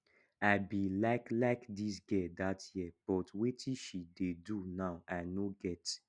i be like like dis girl dat year but wetin she dey do now i no get